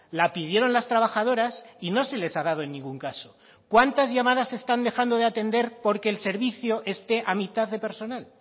la pidieron las trabajadoras y no se les ha dado en ningún caso cuántas llamadas están dejando de atender porque el servicio esté a mitad de personal